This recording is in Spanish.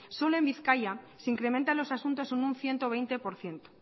solo en bizkaia se incrementan los asuntos en un ciento veinte por ciento